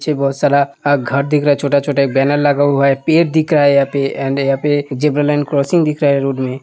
पीछे बोहोत सारा घर दिख रहा है छोटा-छोटा एक बैनर लगा हुआ है पेड़ दिख रहा है यहां पे एण्ड यहां पे ज़ेबरा लाइन क्रॉसिंग दिख रहा है रोड में।